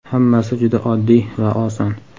Hammasi juda oddiy va oson.